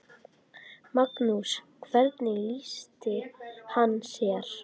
Magnús: Hvernig lýsti hann sér?